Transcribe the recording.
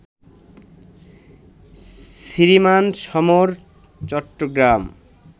Shriman Samar, Chittagong